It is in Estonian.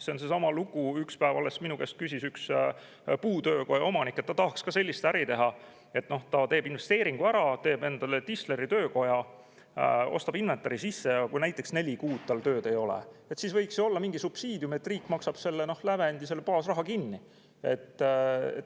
See on seesama lugu, nagu alles üks päev minu käest küsis üks puutöökoja omanik, et ta tahaks ka nii äri teha, et ta teeb investeeringu ära, teeb endale tisleritöökoja, ostab inventari sisse, ja kui näiteks neli kuud tal tööd ei ole, siis oleks mingi subsiidium, et riik maksab kinni selle lävendi, selle baasraha.